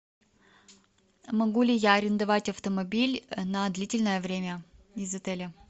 могу ли я арендовать автомобиль на длительное время из отеля